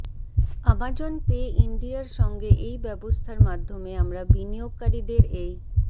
Amazon Pay ইন্ডিয়ার সঙ্গে এই ব্যবস্থার মাধ্যমে আমরা বিনিয়োগকারীদের এই